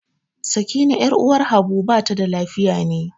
Sakina 'yar uwar Habu bata da lafiya ne.